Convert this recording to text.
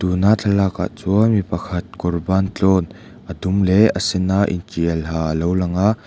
tuna thlalak ah chuan mipakhat kawr bantlawn a dum leh a sena intial ha alo langa.